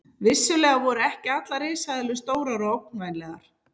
Vissulega voru ekki allar risaeðlur stórar og ógnvænlegar.